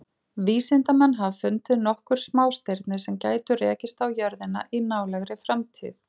Vísindamenn hafa fundið nokkur smástirni sem gætu rekist á jörðina í nálægri framtíð.